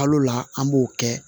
Kalo la an b'o kɛ